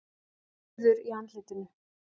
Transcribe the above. Rauður í andlitinu.